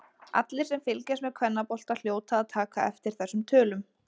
Allir sem fylgjast með kvennabolta hljóta að taka eftir þessum tölum.